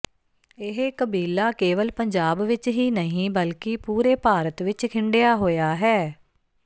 ਇਹ ਕਬੀਲਾ ਕੇਵਲ ਪੰਜਾਬ ਵਿਚ ਹੀ ਨਹੀਂ ਬਲਕਿ ਪੂਰੇ ਭਾਰਤ ਵਿਚ ਖਿੰਡਿਆ ਹੋਇਆ ਹੈ